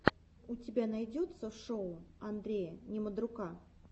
у тебя найдется шоу андрея немодрука